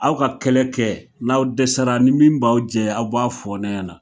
Aw ka kɛlɛ kɛ, n'aw dɛsɛra ni min b'aw jɛ aw b'a fɔ ne ɲɛna